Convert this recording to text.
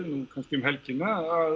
kannski um helgina að